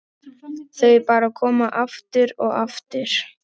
Þau bara koma, aftur og aftur.